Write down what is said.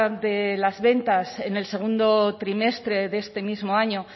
de las ventas en el segundo trimestre de este mismo año